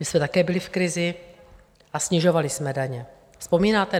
My jsme také byli v krizi a snižovali jsme daně, vzpomínáte?